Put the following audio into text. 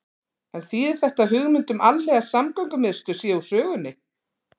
En þýðir þetta að hugmynd um alhliða samgöngumiðstöð sé úr sögunni?